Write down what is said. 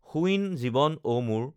শূইন জীৱন অ মোৰ